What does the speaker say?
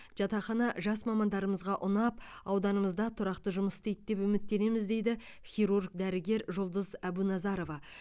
жатақхана жас мамандарымызға ұнап ауданымызда тұрақты жұмыс істейді деп үміттенеміз дейді хирург дәрігер жұлдыз әбуназарова